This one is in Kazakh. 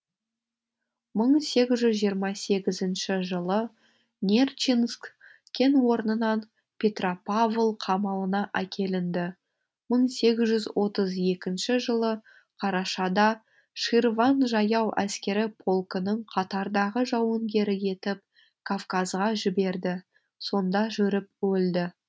мың сегіз жүз жиырма сегізінші жылы нерчинск кен орнынан петропавл қамалына әкелінді мың сегіз жүз отыз екінші жылы қарашада ширван жаяу әскері полкінің қатардағы жауынгері етіп кавказға жіберді сонда жүріп өлді